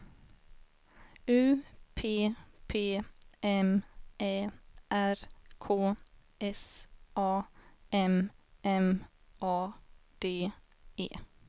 U P P M Ä R K S A M M A D E